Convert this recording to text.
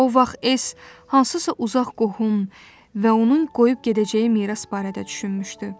O vaxt S hansısa uzaq qohum və onun qoyub gedəcəyi miras barədə düşünmüşdü.